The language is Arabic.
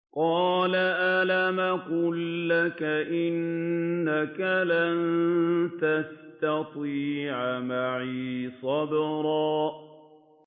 ۞ قَالَ أَلَمْ أَقُل لَّكَ إِنَّكَ لَن تَسْتَطِيعَ مَعِيَ صَبْرًا